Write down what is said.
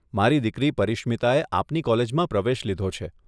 મારી દીકરી પરીશ્મીતાએ આપની કોલેજમાં પ્રવેશ લીધો છે.